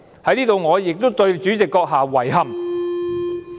我在此亦對主席閣下表示遺憾。